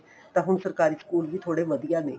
ਤਾਂ ਹੁਣ ਸਰਕਾਰੀ school ਵੀ ਬਹੁਤ ਵਧੀਆ ਨੇ